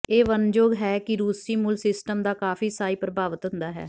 ਇਹ ਵਰਣਨਯੋਗ ਹੈ ਕਿ ਰੂਸੀ ਮੁੱਲ ਸਿਸਟਮ ਦਾ ਕਾਫ਼ੀ ਈਸਾਈ ਪ੍ਰਭਾਵਿਤ ਹੁੰਦਾ ਹੈ